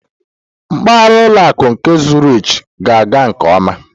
Mpaghara ụlọ akụ nke Zurich na-aga nke ọma.